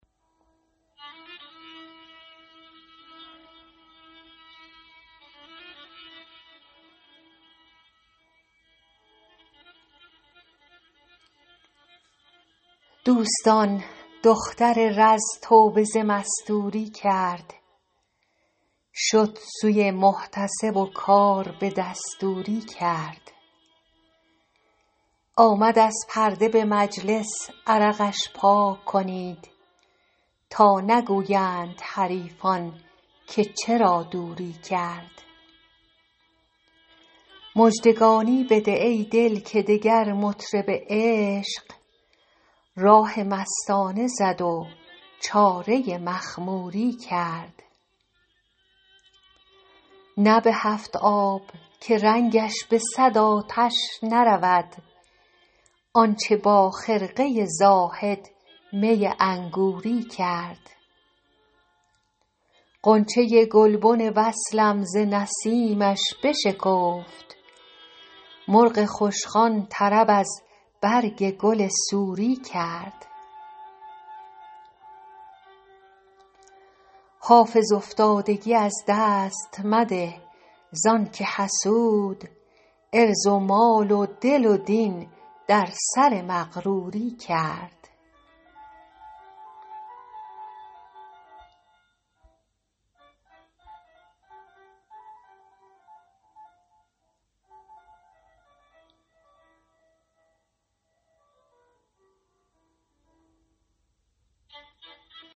دوستان دختر رز توبه ز مستوری کرد شد سوی محتسب و کار به دستوری کرد آمد از پرده به مجلس عرقش پاک کنید تا نگویند حریفان که چرا دوری کرد مژدگانی بده ای دل که دگر مطرب عشق راه مستانه زد و چاره مخموری کرد نه به هفت آب که رنگش به صد آتش نرود آن چه با خرقه زاهد می انگوری کرد غنچه گلبن وصلم ز نسیمش بشکفت مرغ خوشخوان طرب از برگ گل سوری کرد حافظ افتادگی از دست مده زان که حسود عرض و مال و دل و دین در سر مغروری کرد